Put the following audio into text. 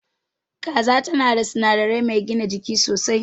Kaza tan da sinadari mai gina jiki sosai.